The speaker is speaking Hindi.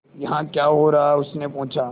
यहाँ क्या हो रहा है उसने पूछा